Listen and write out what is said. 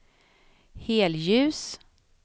helljus